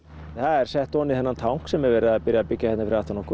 það er sett ofan í þennan tank sem er verið að byrja að byggja hérna fyrir aftan okkur